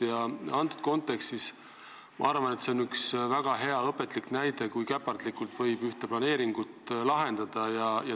Ja selles kontekstis ma arvan, et see on üks väga hea ja õpetlik näide, kui käpardlikult võib ühte planeeringut lahendada.